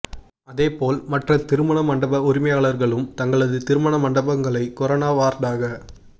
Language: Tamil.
அதே போல் மற்ற திருமண மண்டப உரிமையாளர்களும் தங்களது திருமண மண்டபங்களை கொரோனா வார்டாக